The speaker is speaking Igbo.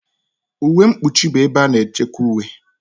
Uwe mkpuchi bụ ebe a na-echekwa uwe.